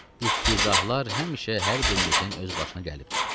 İftizahlar həmşə hər birimizin öz başına gəlibdir.